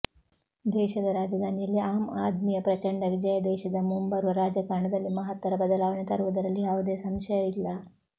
ದೇಶದ ರಾಜಧಾನಿಯಲ್ಲಿ ಆಮ್ ಆದ್ಮಿಯ ಪ್ರಚಂಡ ವಿಜಯ ದೇಶದ ಮುಂಬರುವ ರಾಜಕಾರಣದಲ್ಲಿ ಮಹತ್ತರ ಬದಲಾವಣೆ ತರುವುದರಲ್ಲಿ ಯಾವುದೇ ಸಂಶಯ ಇಲ್ಲ